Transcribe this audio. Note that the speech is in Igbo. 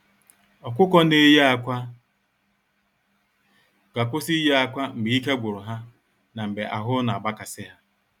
Ọkụkọ na-eye akwa ga-akwụsị ịye akwa mgbe ike gwuru ha na mgbe ahụ na-agba kasị ha.